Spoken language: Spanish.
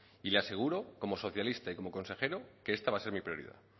y le aseguro como socialista y como consejero que esta va a ser mi prioridad